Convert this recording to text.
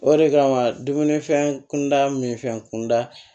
O de kama dumunifɛn kunda min fɛ kunda